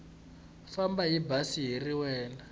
famba hi bazi rin wana